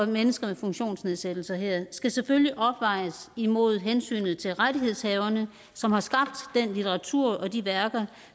mennesker med funktionsnedsættelser her skal selvfølgelig afvejes imod hensynet til rettighedshaverne som har skabt den litteratur og de værker